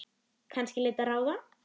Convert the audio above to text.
Kannski leita ráða.